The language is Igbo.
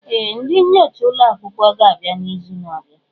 Ee! Ndị nyocha ụlọ akwụkwọ ga-abịa n'izu na-abịa.